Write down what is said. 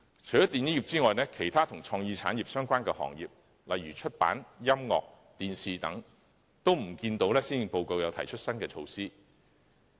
除了電影業外，關於其他與創意產業相關的行業，例如出版、音樂、電視等，均未見施政報告提出新的措施。